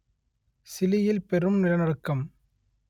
சிலியில் பெரும் நிலநடுக்கம்